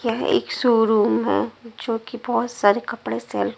एक शोरूम है जो कि बहुत सारे कपड़े से--